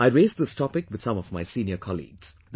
I raised this topic with some of my senior colleagues